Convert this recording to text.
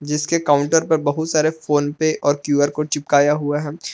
जिसके काउंटर पर बहुत सारे फोन पे और क्यू_आर कोड चिपकाया हुआ है।